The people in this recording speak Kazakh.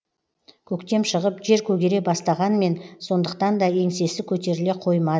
көктем шығып жер көгере бастағанмен сондықтанда еңсесі көтеріле қоймады